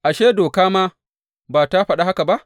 Ashe, Doka ma ba tă faɗa haka ba?